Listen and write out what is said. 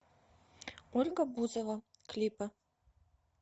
ольга бузова клипы